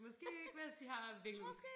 Måske ikke mens de har væggelus